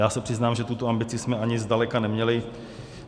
Já se přiznám, že tuto ambici jsme ani zdaleka neměli.